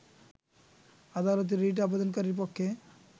আদালতে রিট আবেদনকারীর পক্ষে